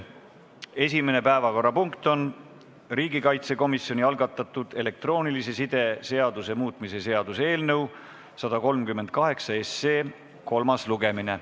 Esimene päevakorrapunkt on riigikaitsekomisjoni algatatud elektroonilise side seaduse muutmise seaduse eelnõu 138 kolmas lugemine.